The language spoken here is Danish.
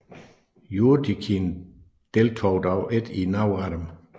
Jurtjikhin deltog dog ikke i nogen af dem